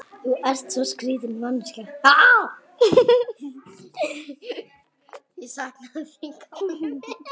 Ég sakna þín gamli minn.